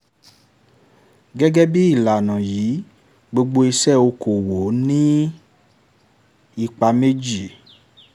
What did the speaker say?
gẹ́gẹ́ bí ìlànà yìí gbogbo ìṣe okò-òwò ní ipa méjì.